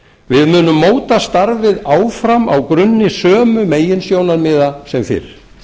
við munum móta starfið áfram á grunni sömu meginsjónarmiða sem fyrr